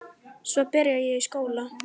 Svo byrjaði ég í skóla.